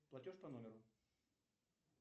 платеж по номеру